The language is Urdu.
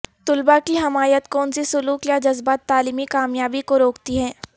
طلباء کی حمایت کونسی سلوک یا جذبات تعلیمی کامیابی کو روکتی ہے